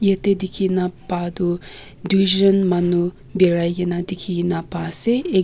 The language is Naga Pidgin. ete dekhina pa toh duijon manu barai na dekhi na pase.